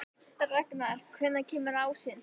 Ragnar, hvenær kemur ásinn?